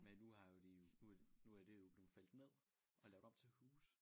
Men nu har jo de jo nu er nu er det jo blevet fældet ned og lavet om til huse